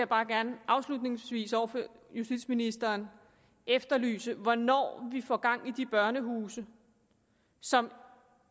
bare gerne afslutningsvis over for justitsministeren efterlyse hvornår vi får gang i de børnehuse som